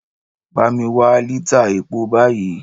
Bá mi wá lítà epo báyìí!